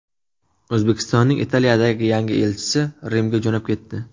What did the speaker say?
O‘zbekistonning Italiyadagi yangi elchisi Rimga jo‘nab ketdi.